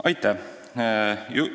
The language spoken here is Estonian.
Aitäh!